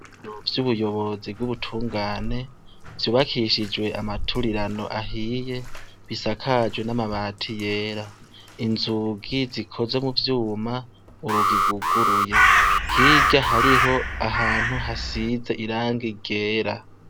Nvyo ubuyobozi bw'ubutungane vyubakishijwe amaturirano ahiye bisakajwe n'amabati yera inzugi zikoze mu vyuma urugiguguruye higa hariho ahantu hasize iranga igera.